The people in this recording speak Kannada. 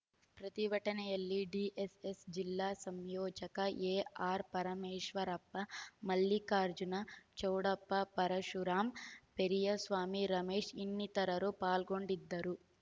ಪ್ರತಿಭಟನೆಯಲ್ಲಿ ಡಿಎಸ್‌ಎಸ್‌ ಜಿಲ್ಲಾ ಸಂಯೋಜಕ ಎಆರ್‌ ಪರಮೇಶ್ವರಪ್ಪ ಮಲ್ಲಿಕಾರ್ಜುನ ಚೌಡಪ್ಪ ಪರಶುರಾಮ್‌ ಪೆರಿಯಸ್ವಾಮಿ ರಮೇಶ್‌ ಇನ್ನಿತರರು ಪಾಲ್ಗೊಂಡಿದ್ದರು